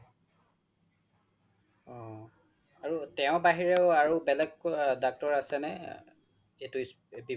অ আৰু তেওৰ বাহিৰেও বেলেগ doctor আছেনে এইতো বিভাগত